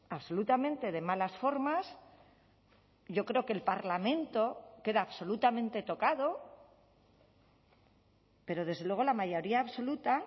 absolutamente de malas formas yo creo que el parlamento queda absolutamente tocado pero desde luego la mayoría absoluta